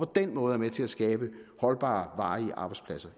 den måde er med til at skabe holdbare varige arbejdspladser